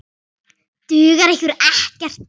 Dugar ykkur ekkert?